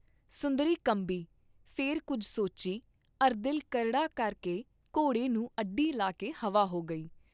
ਸੁੰਦਰੀ ਕੰਬੀ, ਫੇਰ ਕੁੱਝ ਸੋਚੀ ਅਰੁ ਦਿਲ ਕਰੜਾ ਕਰਕੇ ਘੋੜੇ ਨੂੰ ਅੱਡੀ ਲਾ ਕੇ ਹਵਾ ਹੋ ਗਈ।